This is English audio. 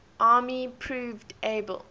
army proved able